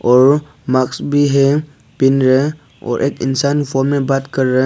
और मास्क भी हैं दिन है और एक इंसान फोन में बात कर रहा--